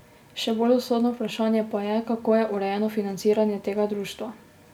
Še bolj usodno vprašanje pa je, kako je urejeno financiranje tega društva.